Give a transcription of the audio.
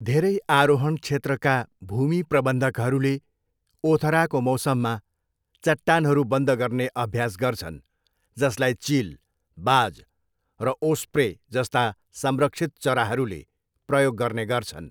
धेरै आरोहण क्षेत्रका भूमि प्रबन्धकहरूले ओथराको मौसममा चट्टानहरू बन्द गर्ने अभ्यास गर्छन् जसलाई चिल, बाज र ओस्प्रे जस्ता संरक्षित चराहरूले प्रयोग गर्ने गर्छन्।